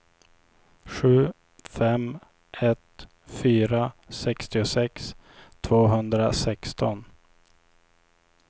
sju fem ett fyra sextiosex tvåhundrasexton